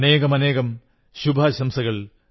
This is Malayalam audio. അനേകം ശുഭാശംസകൾ